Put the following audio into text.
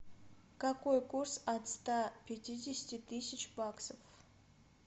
какой курс от ста пятидесяти тысяч баксов